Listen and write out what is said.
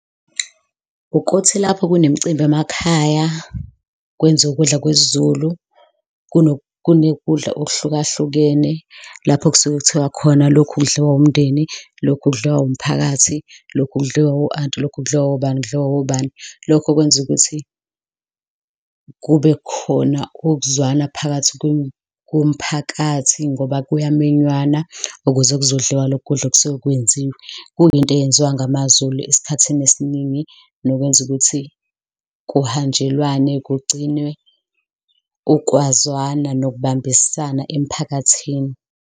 Ukuthi lapho kunemicimbi emakhaya kwenziwe ukudla kwesiZulu, kunokudla okuhlukahlukene, lapho kusuke kuthiwa khona lokhu kudliwa umndeni, lokhu kudliwa umphakathi, lokhu kudliwa o-anti, lokhu kudliwa obani, kudliwa obani. Lokho kwenza ukuthi kube khona ukuzwana phakathi komphakathi ngoba kunyamenywana ukuze kuzodliwa lokhu kudla okusuke kwenziwe. Kuyinto eyenziwa ngamaZulu esikhathini esiningi nokwenza ukuthi kuhanjelwane, kugcinwe ukwazana nokubambisana emphakathini.